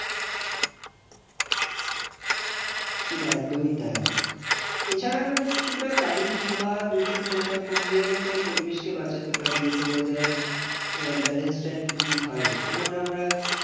একদমই তাই। এছাড়া আমরা কিছুটা গাড়ির ধোঁয়া দূষণ এসব কমিয়েও তো পরিবেশকে বাঁচাতে পারি। যাতে weather এর আহ balance টা একটু ঠিক হয়। যেমন আমরা